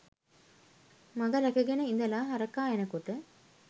මඟ ‍රැකගෙන ඉදලා හරකා එනකොට